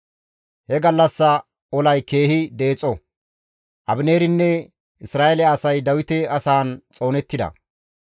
He gallassa olay keehi deexo; Abineerinne Isra7eele asay Dawite asaan xoonettida.